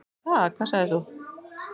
Ha, hvað sagðir þú?